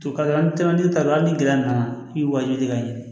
hali ni gɛlɛya nana i bi wajibi ye ka ɲɛ